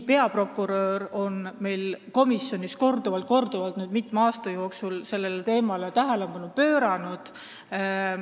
Peaprokurör on meil komisjonis korduvalt, mitme aasta jooksul sellele teemale tähelepanu pööranud.